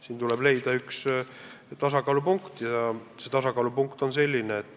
Siin tuleb leida tasakaalupunkt.